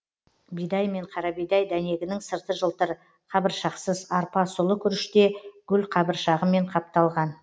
бидай мен қарабидай дәнегінің сырты жылтыр қабыршақсыз арпа сұлы күріште гүлқабыршағымен қапталған